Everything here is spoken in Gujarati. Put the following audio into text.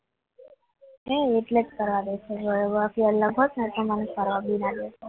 આ એટલે જ કરવા દેજે બાકી અલગ હોત ને તો મને કરવાબીના દર